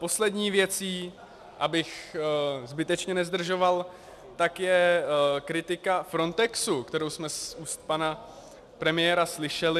Poslední věcí, abych zbytečně nezdržoval, tak je kritika Frontexu, kterou jsme z úst pana premiéra slyšeli.